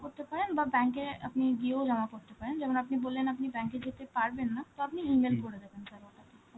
করতে পারেন, বা bank এ আপনি গিয়েও জমা করতে পারেন, যেমন আপনি বললেন আপনি bank এ যেতে পারবেন না, তো আপনি E-mail করে দেবেন sir ওটা.